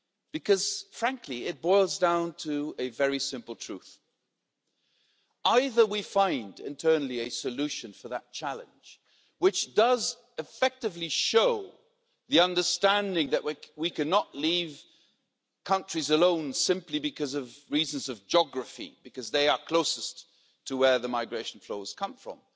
Because frankly it boils down to a very simple truth either we find a solution internally for that challenge that effectively shows the understanding that we cannot leave countries alone simply because of reasons of geography, because they are closest to where the migration flows come from.